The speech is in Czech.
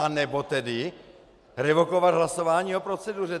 Anebo tedy revokovat hlasování o proceduře.